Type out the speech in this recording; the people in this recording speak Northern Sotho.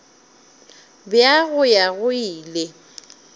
bja go ya go ile